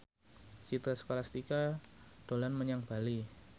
Citra Scholastika dolan menyang Bali